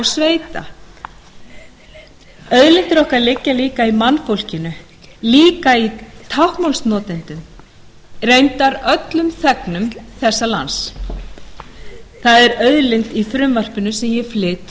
sveita auðlindir okkar liggja líka í mannfólkinu líka í táknmálsnotendum reyndar öllum þegnum þessa lands það er auðlind í frumvarpinu sem ég flyt